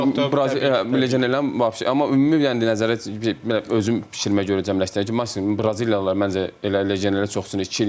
Ümumi yəni legionerlər vaşe, amma ümumi yəni nəzarət özüm bişirməyə görə cəmləşdirəcəm ki, maksimum Braziliyalılar məncə elə legionerlər çoxsun.